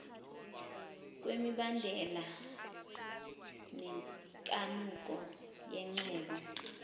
kwemibandela nenkanuko yengcebo